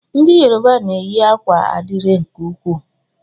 Ndị Yoruba na eyi akwa adire nke ukwuu.